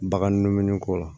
Bagan dumuniko la